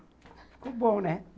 Ficou bom, né?